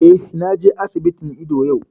Eh, na je asibitin ido yau